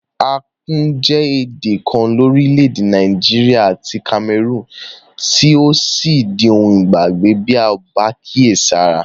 Akum je èdè kan lórílẹ̀dè Naijiria àti Cameroon tí yio sí di oun ìgbàgbé bi a ko ba kíèsára